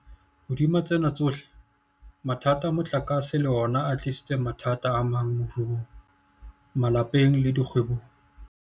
Hodima tsena tsohle, mathata a motlakase le ona a tlisitse mathata amang moruong, malapeng le dikgwebong.